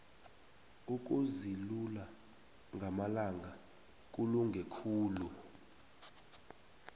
ukuzilula ngamalanga kulunge khulu